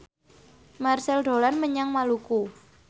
Marchell dolan menyang Maluku